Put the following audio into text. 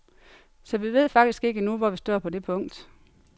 Så vi ved faktisk ikke endnu, hvor vi står på det punkt.